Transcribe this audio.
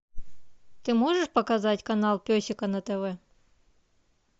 ты можешь показать канал песика на тв